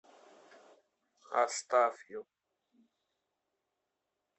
астафьев